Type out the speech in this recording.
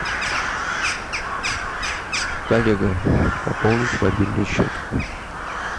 коллега пополнить мобильный счет